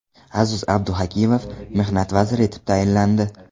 Aziz Abduhakimov Mehnat vaziri etib tayinlandi.